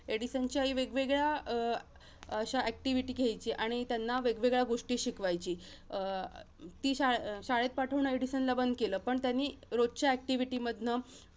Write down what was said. एडिसनची आई, वेगवेगळ्या अं अशा activity घ्यायची आणि त्यांना वेगवेगळ्या गोष्टी शिकवायची. अं ती शाळे~ शाळेत पाठवणं एडिसनला बंद केलं. पण त्यांनी रोजच्या activity मधनं